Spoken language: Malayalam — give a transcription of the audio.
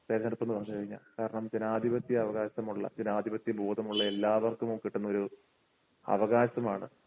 തിരഞ്ഞെടുപ്പെന്ന് പറഞ്ഞു കഴിഞ്ഞാൽ കാരണം ജനാധിപത്യ അവകാശമുള്ള ജനാധിപത്യ ബോധമുള്ള എല്ലാവർക്കും കിട്ടുന്ന ഒരു അവകാശമാണ്